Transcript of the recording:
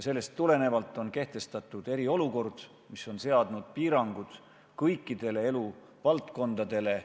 Sellest tulenevalt on kehtestatud eriolukord, mis on seadnud piirangud kõikidele eluvaldkondadele.